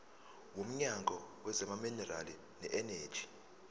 womnyango wezamaminerali neeneji